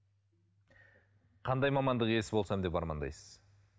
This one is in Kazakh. қандай мамандық иесі болсам екен деп армандайсыз